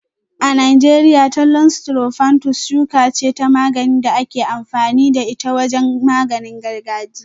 A Najeriya, Thollon strophanthus shuka ce ta magani da ake amfani da ita wajen maganin gargajiya.